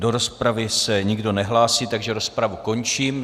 Do rozpravy se nikdo nehlásí, takže rozpravu končím.